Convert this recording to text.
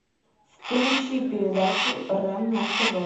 включи передачу рен на тв